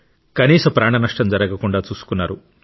కనీసం ప్రాణనష్టం జరగకుండా చూసుకున్నారు